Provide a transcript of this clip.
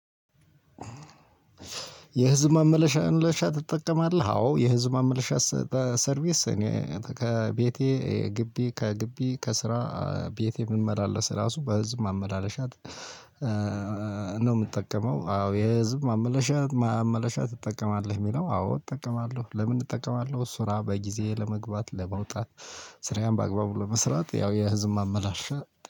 የህዝብ ማመላለሻ ትጠቀማለህ አዎ የህዝብ ማመላለሻ እሰ ሰርቪስ እኔ ከቤቴ ግቢ ከግቢ ከስራ ቤቴ ምመላለስ ራሱ በህዝብ ማመላለሻ እ ነው የምጠቀመው። አዎ የህዝብ ማመላለሻ ማመላለሻ ትጠቀማለህ የሚለው አዎ እጠቀማለሁ። ለምን እጠቀማለሁ ስራ በጊዜ ለመግባት ለመውጣት። ስራዬን በአግባቡ ለመስራት ያው የህዝብ ማመላለሻ